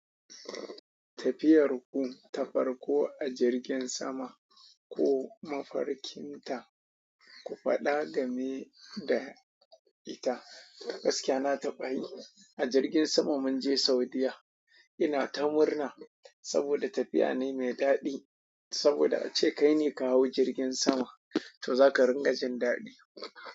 Tafiyar ku, ta farko a jirgin sama ko mafarkin ta, ku faɗa game da ita. Gaskiya na tafi a jirgin sama mun je Saudiyya. Ina ta murna saboda tafiya na yi mai daɗi. Saboda ace kai ne ka hau jirgin sama, to zaka ringa jin daɗi.